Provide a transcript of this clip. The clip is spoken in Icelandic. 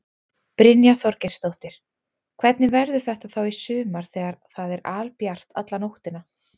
Brynja Þorgeirsdóttir: Hvernig verður þetta þá í sumar þegar það er albjart alla nóttina?